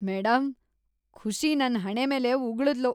Madam, Khushi ನನ್ ಹಣೆ ಮೇಲೆ ಉಗುಳಿದ್ಲು.